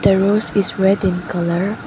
a rose is red in colour.